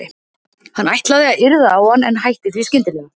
Hann ætlaði að yrða á hann en hætti því skyndilega.